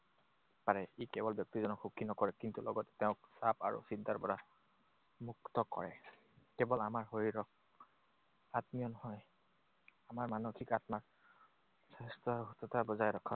পাৰে। ই কেৱল ব্যক্তিজনক সুখী নকৰে, কিন্তু লগত তেওঁক চাপ আৰু চিন্তাৰ পৰা মুক্ত কৰে। কেৱল আমাৰ শৰীৰত আত্মীয় নহয়। আমাৰ মানসিক আত্মাৰ স্বাস্থ্য আৰু সুস্থতা বজাই ৰখাৰ